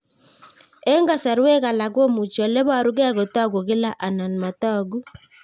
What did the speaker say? Eng' kasarwek alak komuchi ole parukei kotag'u kila anan matag'u